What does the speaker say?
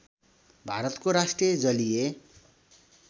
भारतको राष्ट्रिय जलीय